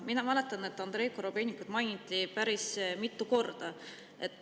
Ma mäletan, et Andrei Korobeinikut mainiti päris mitu korda.